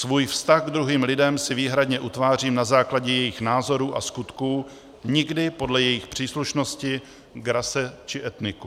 Svůj vztah k druhým lidem si výhradně utvářím na základě jejich názorů a skutků, nikdy podle jejich příslušnosti k rase či etniku.